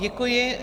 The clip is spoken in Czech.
Děkuji.